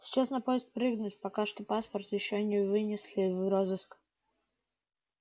сейчас на поезд прыгнуть пока паспорт ещё не внесли в розыск